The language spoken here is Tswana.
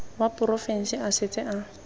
wa porofense a setse a